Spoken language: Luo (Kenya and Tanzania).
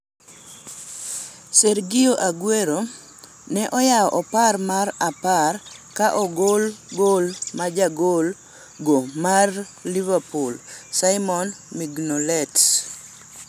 Sergio Aguero ne oyawo opar mar opar ka ogol gol ma jagol go mar Liverpool, Simon Mignolet.